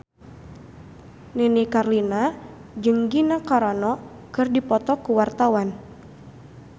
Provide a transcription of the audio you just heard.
Nini Carlina jeung Gina Carano keur dipoto ku wartawan